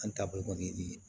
An ta bɔ kɔni